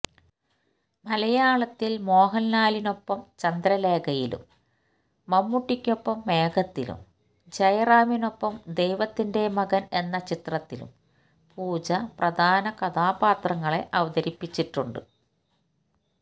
മലയാളത്തില് മോഹന്ലാലിനൊപ്പം ചന്ദ്രലേഖയിലും മമ്മൂട്ടിക്കൊപ്പം മേഘത്തിലും ജയറാമിനൊപ്പം ദൈവത്തിന്റെ മകന് എന്ന ചിത്രത്തിലും പൂജ പ്രധാന കഥാപാത്രങ്ങളെ അവതരിപ്പിച്ചിട്ടുണ്ട്